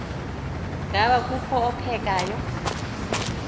ngaba kukho ophekayo